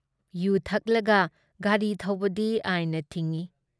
U ꯊꯛꯂꯒ ꯒꯥꯔꯤ ꯊꯧꯕꯗꯤ ꯑꯥꯏꯟꯅ ꯊꯤꯡꯏ